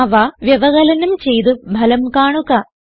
അവ വ്യവകലനം ചെയ്ത് ഫലം കാണുക